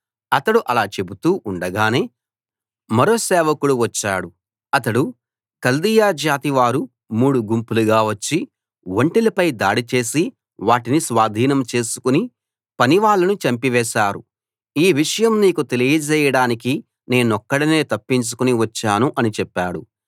అతడు అలా చెబుతూ ఉండగానే మరో సేవకుడు వచ్చాడు అతడు కల్దీయ జాతి వారు మూడు గుంపులుగా వచ్చి ఒంటెలపై దాడి చేసి వాటిని స్వాధీనం చేసుకుని పనివాళ్ళను చంపివేశారు ఈ విషయం నీకు తెలియజేయడానికి నేనొక్కడినే తప్పించుకుని వచ్చాను అని చెప్పాడు